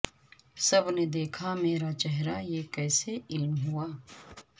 سب نے دیکھا میرا چہرہ یہ کسے علم ہوا